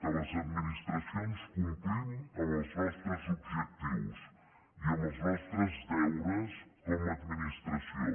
que les administracions complim amb els nostres objectius i amb els nostres deures com a administració